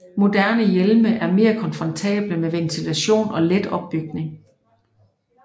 Moderne hjelme er meget komfortable med ventilation og let opbygning